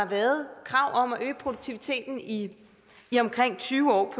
været krav om at øge produktiviteten i i omkring tyve år